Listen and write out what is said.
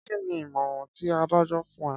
Kí ni ìmọ̀ràn ti adájọ́ fún ẹ?